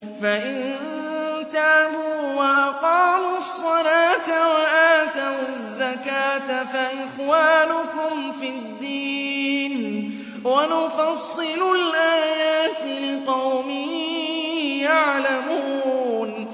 فَإِن تَابُوا وَأَقَامُوا الصَّلَاةَ وَآتَوُا الزَّكَاةَ فَإِخْوَانُكُمْ فِي الدِّينِ ۗ وَنُفَصِّلُ الْآيَاتِ لِقَوْمٍ يَعْلَمُونَ